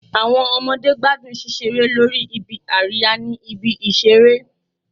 Awọn ọmọde gbadun ṣiṣere lori ibi-ariya ni ibi-iṣere